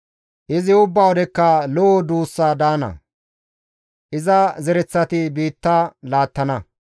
Izi ubbaa wodekka lo7o duus daana; iza zereththati biitta laattana.